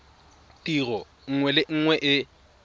tiro nngwe le nngwe e